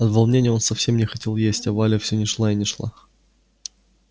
от волнения он совсем не хотел есть а валя все не шла и не шла